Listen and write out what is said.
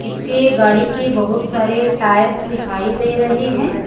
इसके गाड़ी के बहुत सारे टायर्स दिखाई दे रहे हैं।